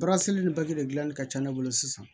ni de gilanni ka ca ne bolo sisan